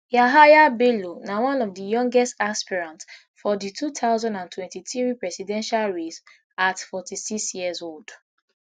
yahaya bello na one of di youngest aspirant for di two thousand and twenty-three presidential race at forty-six years old